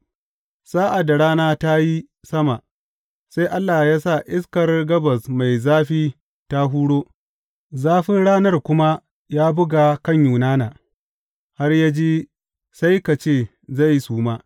Sa’ad da rana ta yi sama, sai Allah ya sa iskar gabas mai zafi ta huro, zafin ranar kuma ya buga kan Yunana, har ya ji sai ka ce zai suma.